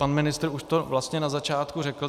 Pan ministr to už vlastně na začátku řekl.